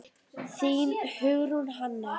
Þín, Hugrún Hanna.